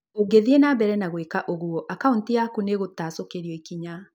Ũngĩthiĩ na mbere na gwĩka ũguo, akaunti yaku nĩ-ĩgũtacũkĩrio ikinya